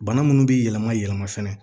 Bana munnu bi yɛlɛma yɛlɛma fɛnɛ